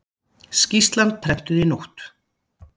Skýrslan prentuð í nótt